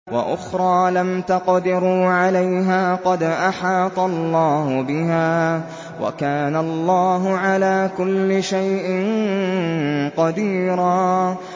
وَأُخْرَىٰ لَمْ تَقْدِرُوا عَلَيْهَا قَدْ أَحَاطَ اللَّهُ بِهَا ۚ وَكَانَ اللَّهُ عَلَىٰ كُلِّ شَيْءٍ قَدِيرًا